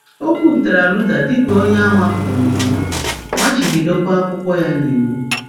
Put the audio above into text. Ọ kwupụtara Luther dị ka onye a mapụrụ n’iwu, machibidokwa akwụkwọ ya n'iwu.